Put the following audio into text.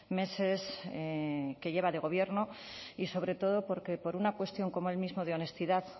meses que lleva de gobierno y sobre todo porque por una cuestión como él mismo de honestidad